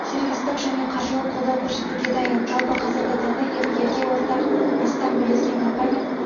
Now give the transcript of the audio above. сервистік және қаржылық қолдау көрсетуге дайын жалпы қазіргі таңда екі елге ортақ астам бірлескен компания